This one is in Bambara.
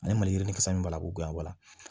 Ani maliyirini kasa min b'a la k'u gɛn ga wala